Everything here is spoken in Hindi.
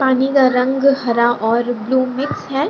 पानी का रंग हरा और ब्लू मिक्स है।